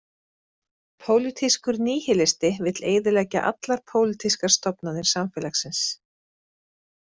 Pólitískur níhilisti vill eyðileggja allar pólítískar stofnanir samfélagsins.